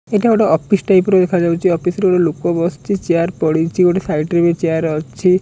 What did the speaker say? ଏଇଟା ଗୋଟେ office type ର ଦେଖାଯାଉଚି ଅଫିସ୍ ରେ ଏ ଗୋଟେ ଲୋକ ବସିଚି ଚିଆର୍ ପଡ଼ିଚି ଗୋଟେ ସାଇଟ୍ ରେ ବି ଚିଆର୍ ଅଛି।